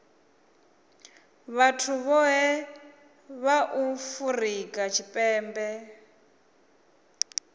vhathu vhohe vha afurika tshipembe